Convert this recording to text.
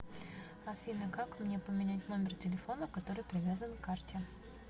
афина как мне поменять номер телефона который привязан к карте